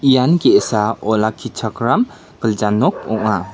ian ge·sa olakkichakram gilja nok ong·a.